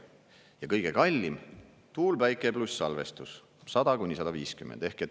Ja kõige kallim: tuul, päike pluss salvestus, 100–150 dollarit.